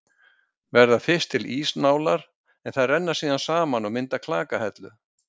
Verða fyrst til ísnálar en þær renna síðan saman og mynda klakahellu.